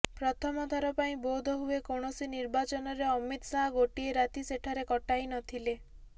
ପ୍ରଥମଥର ପାଇଁ ବୋଧହୁଏ କୌଣସି ନିର୍ବାଚନରେ ଅମିତ ଶାହ ଗୋଟଏ ରାତି ସେଠାରେ କଟାଇ ନ ଥିଲେ